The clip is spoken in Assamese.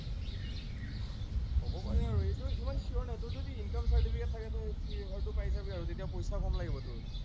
হব পাৰে আৰু এইটো ইমান sure নাই, তোৰ যদি income certificate থাকে তোৰ পাই যাবি আৰু, তেতিয়া পইচা কম লাগিব তোৰ।